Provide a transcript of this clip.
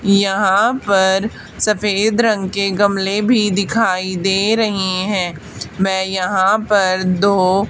यहां पर सफेद रंग के गमले भी दिखाई दे रहे हैं मैं यहां पर दो--